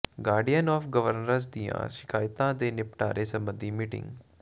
guardian of governors ਦੀਆਂ ਸ਼ਿਕਾਇਤਾਂ ਦੇ ਨਿਪਟਾਰੇ ਸਬੰਧੀ ਮੀਟਿੰਗ